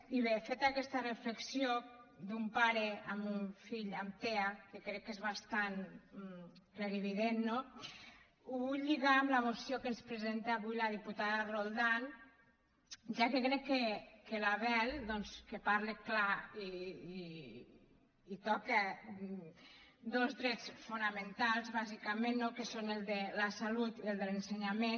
i bé feta aquesta reflexió d’un pare amb un fill amb tea que crec que és bastant clarivident no ho vull lligar amb la moció que ens presenta avui la diputada roldán ja que crec que l’abel doncs que parla clar i toca dos drets fonamentals bàsicament no que són el de la salut i el de l’ensenyament